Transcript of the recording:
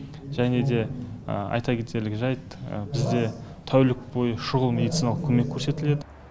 және де айта кетерлік жәйт бізде тәулік бойы шұғыл медициналық көмек көрсетіледі